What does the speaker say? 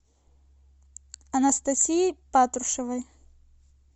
анастасией патрушевой